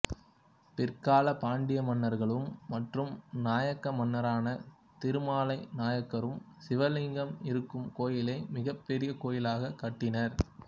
பிற்கால பாண்டிய மன்னர்களும் மற்றும் நாயக்க மன்னரான திருமலை நாயக்கரும் சிவலிங்கம் இருக்கும் கோயிலை மிகப் பெரிய கோயிலாகக் கட்டினர்